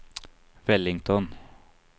Wellington